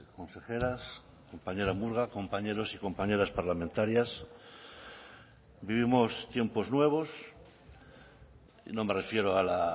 consejeras compañera murga compañeros y compañeras parlamentarias vivimos tiempos nuevos no me refiero a la